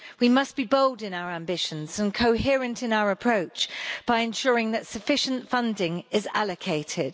We must be bold in our ambitions and coherent in our approach by ensuring that sufficient funding is allocated.